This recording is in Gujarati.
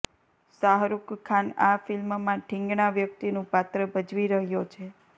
શાહરૂખ ખાન આ ફિલ્મમાં ઠીંગણા વ્યક્તિનું પાત્ર ભજવી રહ્યો છે